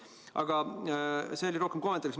Aga see oli rohkem kommentaariks.